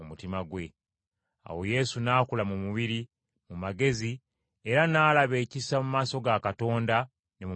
Awo Yesu n’akula mu mubiri, mu magezi, era n’alaba ekisa mu maaso ga Katonda ne mu maaso g’abantu.